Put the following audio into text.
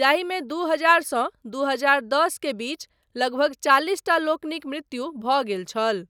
जाहिमे दू हजार सँ दू हजार दस के बीच लगभग चालिसटा लोकनिक मृत्यु भऽ गेल छल।